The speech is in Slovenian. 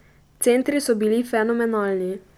Centri so bili fenomenalni.